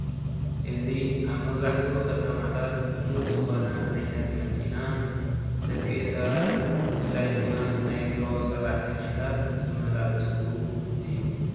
እዚ አብ መብዛሒቲኡ ከተማታተ ሉሙድ ዝኮነ ዓይነት መኪና ደቂ ሰባት ብፍላይ ድማ ናይ ቢሮ ሰራሕተኛታት ዝመላለስሉ እዩ፡፡